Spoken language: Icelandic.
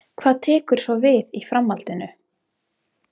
Hvað tekur svo við í framhaldinu?